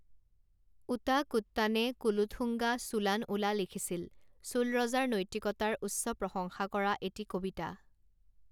ওটাকুট্টানে কুলোথুঙ্গা চোলান উলা লিখিছিল, চোল ৰজাৰ নৈতিকতাৰ উচ্চপ্ৰশংসা কৰা এটি কবিতা।